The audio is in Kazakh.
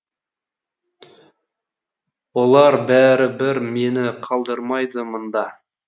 олар бәрі бір мені қалдырмайды мында